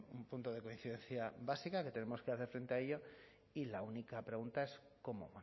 un punto de coincidencia básica que tenemos que hacer frente a ello y la única pregunta es cómo